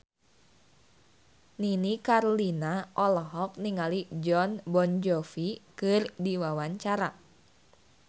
Nini Carlina olohok ningali Jon Bon Jovi keur diwawancara